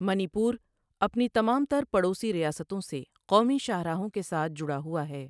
منی پور اپنی تمام تر پڑوسی ریاستوں سے قومی شاہراہوں کے ساتھ جڑا ہوا ہے۔